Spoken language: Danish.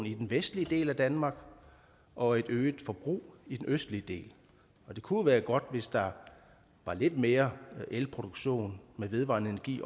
i den vestlige del af danmark og et øget forbrug i den østlige del det kunne være godt hvis der var lidt mere elproduktion med vedvarende energi